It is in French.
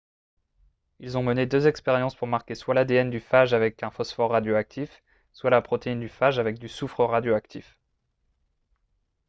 ils ont mené deux expériences pour marquer soit l'adn du phage avec un phosphore radioactif soit la protéine du phage avec du soufre radioactif